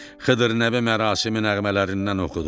Xıdır Nəbi mərasim nəğmələrindən oxudular.